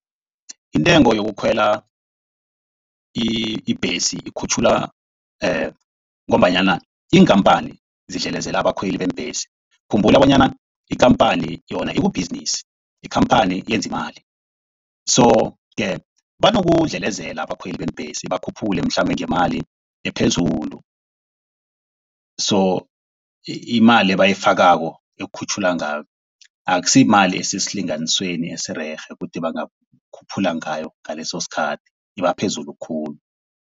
Intengo yokukhwela ibhesi ikhutjhulwa ngombanyana iinkhamphani zidlelezela abakhweli beembhesi. Khumbula bonyana ikhamphani yona ikubhizinisi. Ikhamphani yenza imali. So ke banokudlelezela abakhweli beembhesi bakhuphule mhlambe ngemali ephezulu. So imali abayifakako ekukhutjhulwa ngayo akusiyimali esesilinganisweni esirerhe ukuthi bangakhuphula ngayo ngaleso sikhathi iba phezulu khulu.